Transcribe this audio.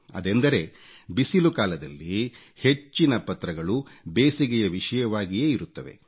ಅದೆಂದರೆ ಬಿಸಿಲು ಕಾಲದಲ್ಲಿ ಹೆಚ್ಚಿನ ಪತ್ರಗಳು ಬೇಸಿಗೆಯ ವಿಷಯವಾಗಿಯೇ ಇರುತ್ತವೆ